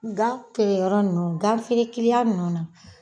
Gan keyɔrɔ ninnu ganfeere kiliyan ninnu na